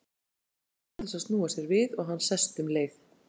Sestu, segir Helga, án þess að snúa sér við og hann sest um leið.